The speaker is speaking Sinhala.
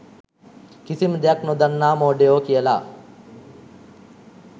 කිසිම දෙයක් නොදන්නා මෝඩයෝ කියලා